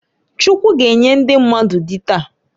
Chukwu g'enye ndi mmadụ dị taa.